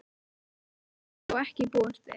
Þessu höfðu þeir þó ekki búist við.